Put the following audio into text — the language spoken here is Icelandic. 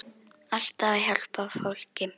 Alltaf að hjálpa fólki.